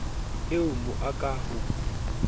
o a mo aka ha